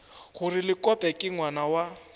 gore lekope ke ngwana wa